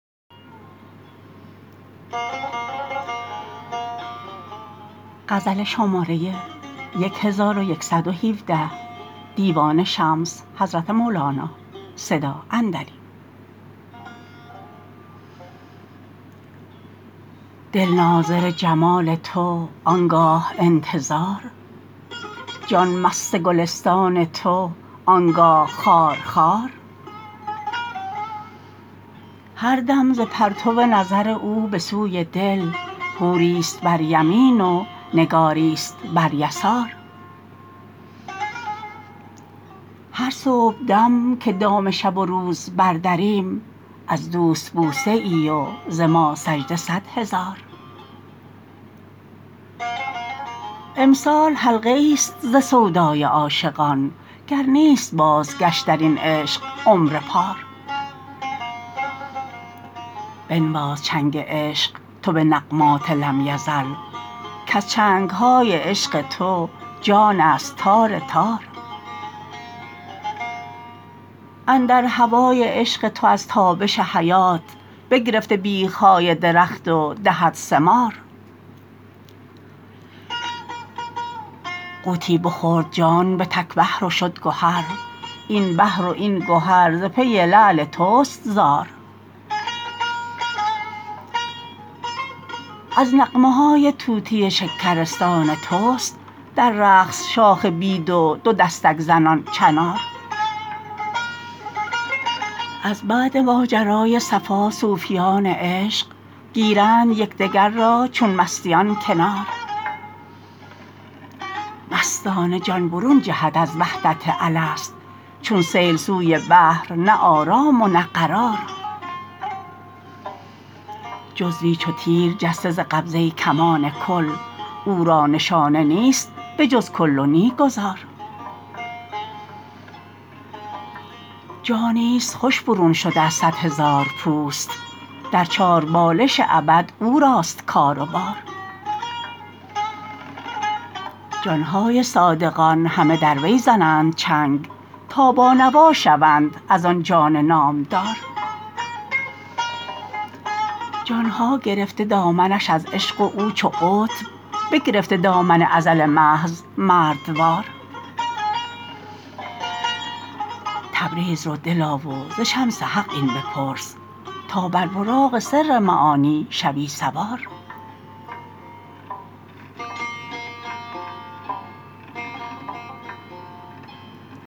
دل ناظر جمال تو آن گاه انتظار جان مست گلستان تو آن گاه خار خار هر دم ز پرتو نظر او به سوی دل حوریست بر یمین و نگاریست بر یسار هر صبحدم که دام شب و روز بردریم از دوست بوسه ای و ز ما سجده صد هزار امسال حلقه ایست ز سودای عاشقان گر نیست بازگشت در این عشق عمر پار بنواز چنگ عشق تو به نغمات لم یزل کز چنگ های عشق تو جانست تار تار اندر هوای عشق تو از تابش حیات بگرفته بیخ های درخت و دهد ثمار غوطی بخورد جان به تک بحر و شد گهر این بحر و این گهر ز پی لعل توست زار از نغمه های طوطی شکرستان توست در رقص شاخ بید و دو دستک زنان چنار از بعد ماجرای صفا صوفیان عشق گیرند یک دگر را چون مستیان کنار مستانه جان برون جهد از وحدت الست چون سیل سوی بحر نه آرام و نه قرار جزوی چو تیر جسته ز قبضه کمان کل او را نشانه نیست به جز کل و نی گذار جانیست خوش برون شده از صد هزار پوست در چاربالش ابد او راست کار و بار جان های صادقان همه در وی زنند چنگ تا بانوا شوند از آن جان نامدار جان ها گرفته دامنش از عشق و او چو قطب بگرفته دامن ازل محض مردوار تبریز رو دلا و ز شمس حق این بپرس تا بر براق سر معانی شوی سوار